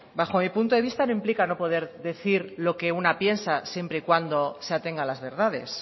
bajo mi punto de vista no implica no poder decir lo que una piensa siempre y cuando se atenga a las verdades